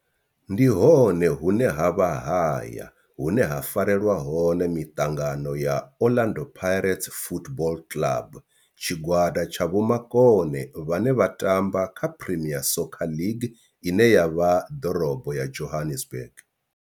Ndi hone hune havha haya hune ha farelwa hone miṱangano ya Orlando Pirates Football Club. Tshigwada tsha vhomakone vhane vha tamba kha Premier Soccer League ine ya vha ḓorobo ya Johannesburg.